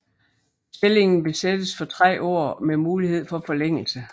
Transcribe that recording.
Stillingen besættes for tre år med mulighed for forlængelse